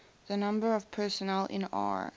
the numbers of personnel in r